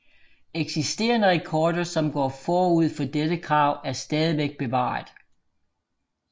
Eksisterende rekorder som går forud for dette krav er stadigvæk bevaret